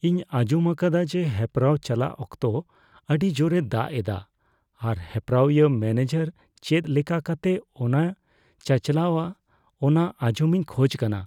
ᱤᱧ ᱟᱸᱡᱚᱢ ᱟᱠᱟᱫᱟ ᱡᱮ ᱦᱮᱯᱨᱟᱣ ᱪᱟᱞᱟᱜ ᱚᱠᱛᱚ ᱟᱹᱰᱤ ᱡᱳᱨᱮ ᱫᱟᱜ ᱮᱫᱟ ᱟᱨ ᱦᱮᱯᱨᱟᱣᱤᱭᱟᱹ ᱢᱮᱹᱱᱮᱡᱟᱨ ᱪᱮᱫ ᱞᱮᱠᱟ ᱠᱟᱛᱮ ᱚᱱᱟᱭ ᱪᱟᱼᱪᱟᱞᱟᱣᱟ ᱚᱱᱟ ᱟᱸᱡᱚᱢᱤᱧ ᱠᱷᱚᱡᱽ ᱠᱟᱱᱟ ᱾